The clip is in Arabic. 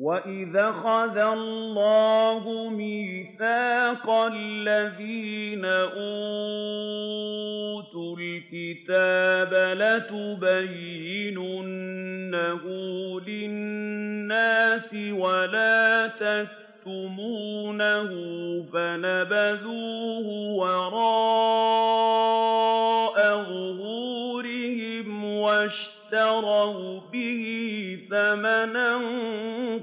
وَإِذْ أَخَذَ اللَّهُ مِيثَاقَ الَّذِينَ أُوتُوا الْكِتَابَ لَتُبَيِّنُنَّهُ لِلنَّاسِ وَلَا تَكْتُمُونَهُ فَنَبَذُوهُ وَرَاءَ ظُهُورِهِمْ وَاشْتَرَوْا بِهِ ثَمَنًا